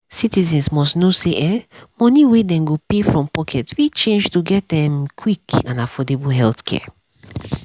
citizens must know say um money wey dem go pay from pocket fit change to get um quick and affordable healthcare.